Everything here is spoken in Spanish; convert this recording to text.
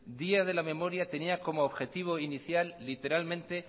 día de memoria tenía como objetivo inicial literalmente